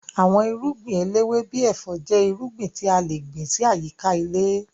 Àwọn irúngbìn eléwé bíi ẹ̀fọ́ jẹ́ irúgbìn tí a le gbìn sí àyíká ilé